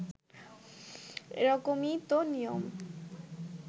এরকমই তো নিয়ম